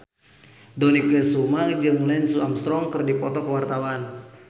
Dony Kesuma jeung Lance Armstrong keur dipoto ku wartawan